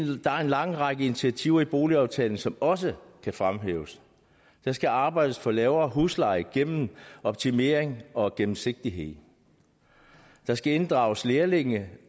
lang række initiativer i boligaftalen som også kan fremhæves der skal arbejdes for lavere husleje gennem optimering og gennemsigtighed der skal inddrages lærlinge